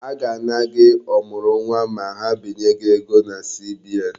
A ga-ana gị ọmụrụnwa ma ha binye gị ego na CBN.